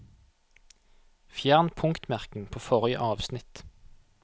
Fjern punktmerking på forrige avsnitt